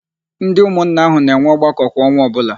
Ndị ụmụnna áhụ̀ na-enwe ọgbakọ kwa ọnwa ọbụla.